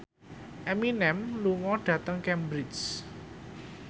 Eminem lunga dhateng Cambridge